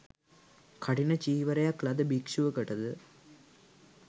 කඨින චීවරයක් ලද භික්ෂුවකට ද